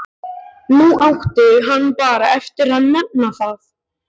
Nú átti hann bara eftir að nefna það.